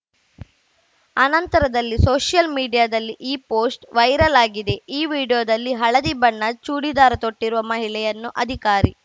ಅನಂತರದಲ್ಲಿ ಸೋಷಿಯಲ್‌ ಮೀಡಿಯಾದಲ್ಲಿ ಈ ಪೋಸ್ಟ್‌ ವೈರಲ್‌ ಆಗಿದೆ ಈ ವಿಡಿಯೋದಲ್ಲಿ ಹಳದಿ ಬಣ್ಣ ಚೂಡಿದಾರ್‌ ತೊಟ್ಟಿರುವ ಮಹಿಳೆಯನ್ನು ಅಧಿಕಾರಿ